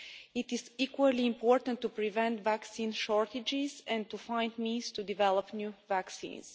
It is equally important to prevent vaccine shortages and to find means to develop new vaccines.